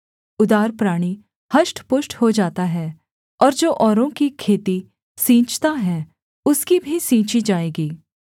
उदार प्राणी हष्टपुष्ट हो जाता है और जो औरों की खेती सींचता है उसकी भी सींची जाएगी